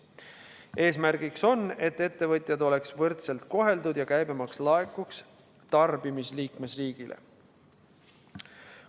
Eesmärk on, et ettevõtjad oleksid võrdselt koheldud ja käibemaks laekuks tarbimisliikmesriigile.